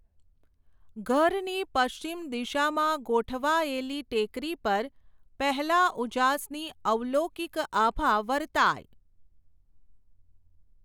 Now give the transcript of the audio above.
ઘરની પશ્ચિમ દિશામાં ગોઠવાયેલી ટેકરી પર, પહેલાં ઉજાસની અલૌકિક આભા વરતાય.